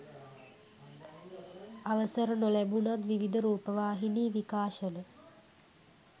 අවසර නොලැබුණත් විවිධ රූපවාහිනි විකාශන